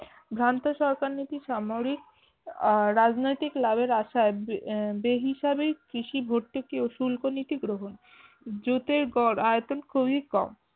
ভ্রান্ত সরকারনীতি সামরিক আহ রাজনৈতিক লাভের আসায় আহ বেহিসাবির কৃষি ভর্তুকি শুল্ক নীতি গ্রহণ জুটের গড় আয়তন খুবি কম